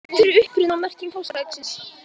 Hver er uppruni og merking páskaeggsins?